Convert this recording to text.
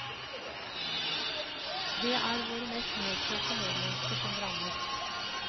Det er våre mest nedkjørte medmennesker som rammes.